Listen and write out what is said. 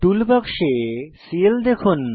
টুল বাক্সে সিএল দেখুন